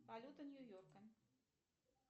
валюта нью йорка